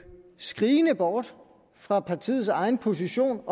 skrigende bort fra partiets egen position